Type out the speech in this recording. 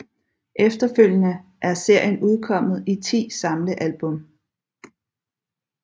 Efterfølgende er serien udkommet i ti samlealbum